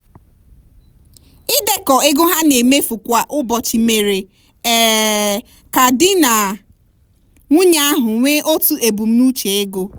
ịdekọ ego ha na-emefu kwa ụbọchị mere um ka di na nwunye ahụ nwee otu ebumnuche ego.